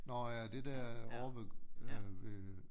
Nårh ja det der ovre ved øh ved